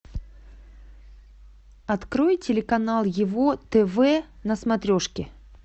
открой телеканал его тв на смотрешке